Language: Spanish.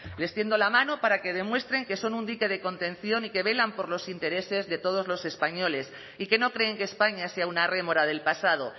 les tiendo la mano para que demuestren que son un dique de contención y que velan por los intereses de todos los españoles y que no creen que españa sea una rémora del pasado